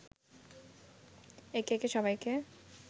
একে একে সবাইকে